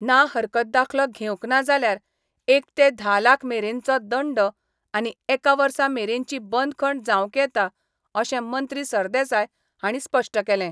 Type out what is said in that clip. ना हरकत दाखलो घेवंक ना जाल्यार एक ते धा लाख मेरेनचो दंड आनी एका वर्सा मेरेनची बंदखण जावंक येता अशें मंत्री सरदेसाय हांणी स्पश्ट केलें.